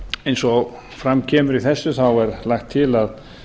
eins og fram kemur í þessu er lagt til að